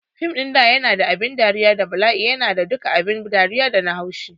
Fim ɗin da yana da abin dariya da bala'i yana da duka abin dariya da na haushi